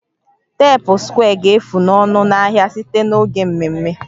teepu square ga-efu ọnụ n'ahịa site n'oge mmemme